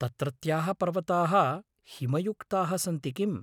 तत्रत्याः पर्वताः हिमयुक्ताः सन्ति किम्?